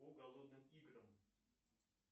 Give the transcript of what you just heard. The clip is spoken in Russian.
по голодным играм